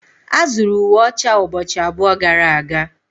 A zụrụ uwe ọcha ụbọchị abụọ gara aga.